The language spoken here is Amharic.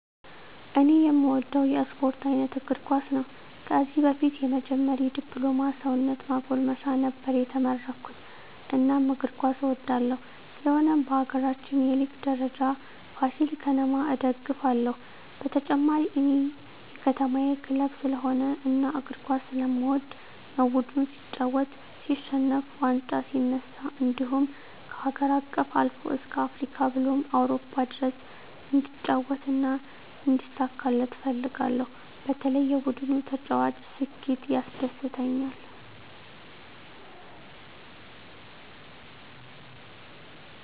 እኔ እምወደው የስፓርት አይነት እግርኳስ ነው ከዚህ በፊት የመጀመሪ ድፕሎማ ሰውነት ማጎልመሻ ነበር የተመረኩት እናም እግር ኳስ እወዳለሁ ስለሆነም በሀገራችን የሊግ ደረጃ ፍሲል ከተማ እደግፍለ ሁ በተጨማሪ እኔ የከተማየ ክለብ ስለሆነ እና እግር ኳስ ስለምወድ ነው ቡድኑ ሲጫወት ሲሸንፍ ዋንጫ ሲነሳ እንድሁም ከሀገር አቀፍ አልፎ እስከ አፍሪካ ብሎም አውሮፓ ድረስ እንዲጫወት እና እንዲሳካለት እፈልጋለሁ በተለይ የቡድኑ ተጫዋች ስኬት ያስደስተኛል።